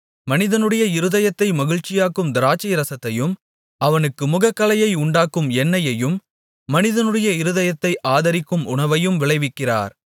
மனிதனுடைய இருதயத்தை மகிழ்ச்சியாக்கும் திராட்சைரசத்தையும் அவனுக்கு முகக்களையை உண்டாக்கும் எண்ணெயையும் மனிதனுடைய இருதயத்தை ஆதரிக்கும் உணவையும் விளைவிக்கிறார்